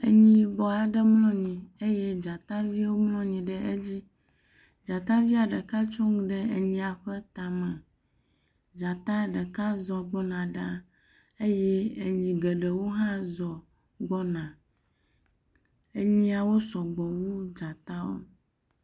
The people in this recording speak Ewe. Enyi yibɔ aɖe mlɔ anyi eye dzataviwo mlɔ anyi ɖe edzi eye dzatavia ɖeka tso nu ɖe enyia ƒe tame. Dzata ɖeka zɔ gbɔna ɖe eye enyiawo hã zɔ gbɔna.